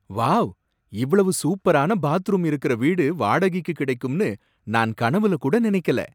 Wow! இவ்வளவு சூப்பரான bathroom இருக்குற வீடு வாடகைக்கு கிடைக்கும்னு நான் கனவுல கூட நினைக்கல